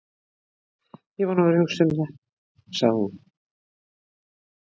Ég er búin að vera að hugsa um það, sagði hún.